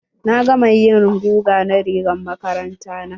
Na gama yin guga na rigar makaranta na.